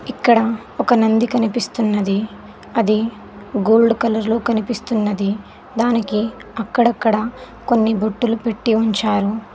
ఇక్కడ ఒక నంది కనిపిస్తున్నది అది గోల్డ్ కలర్ లో కనిపిస్తున్నది దానికి అక్కడక్కడ కొన్ని బొట్టులు పెట్టి ఉంచారు.